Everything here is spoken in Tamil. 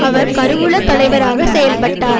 அவர் கருவூல தலைவராகச் செயல்பட்டார்